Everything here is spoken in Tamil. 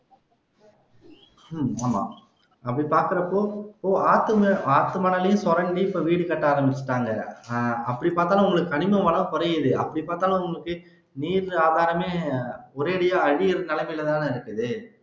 உம் ஆமா அப்படி பாக்குறப்போ ஆத்துமணல் ஆத்துமணலையும்சுரண்டி இப்ப வீடு கட்ட ஆரம்பிச்சுட்டாங்க அஹ் அப்படி பாத்தாலும் உங்களுக்கு கனிம வளம் குறையுது அப்படிப்பாத்தாலும் உங்களுக்கு நீர் ஆதாரமே ஒரேயடியா அழியிற நிலமைலதானே இருக்குது